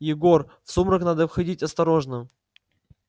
егор в сумрак надо входить осторожно